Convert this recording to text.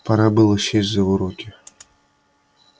пора было сесть за уроки